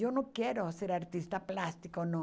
Eu não quero ser artista plástico, não.